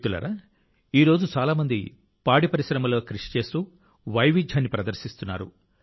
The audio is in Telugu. మిత్రులారా ఈరోజు చాలా మంది పాడిపరిశ్రమ లో కృషి చేస్తూ వైవిధ్యాన్ని ప్రదర్శిస్తున్నారు